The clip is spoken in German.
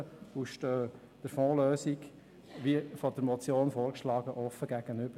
Wir stehen der Fondslösung, welche die Motion vorsieht, offen gegenüber.